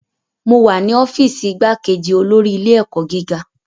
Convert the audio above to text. Mo wa ni ọfiisi igbakeji olori ile-ẹkọ giga